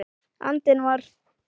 andinn var.